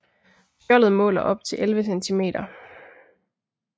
Skjoldet måler op til 11 cm